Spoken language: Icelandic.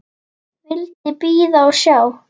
Vildi bíða og sjá.